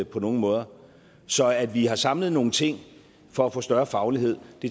på nogen måder så at vi har samlet nogle ting for at få større faglighed